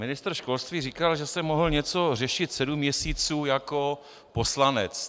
Ministr školství říkal, že jsem mohl něco řešit sedm měsíců jako poslanec.